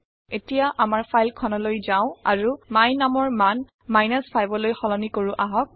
এতিয়া আমাৰ ফাইল খনলৈ যাওঁ আৰু my numৰ মান 5লৈ সলনি কৰো আহক